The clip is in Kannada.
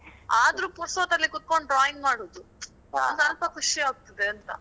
ಆದ್ರು ಪುರ್ಸೊತ್ತಲ್ಲಿ ಕೂತ್ಕೊಂಡು drawing ಮಾಡುದು. ಒಂದು ಸ್ವಲ್ಪ ಖುಷಿ ಆಗ್ತದೆ ಅಂತಾ.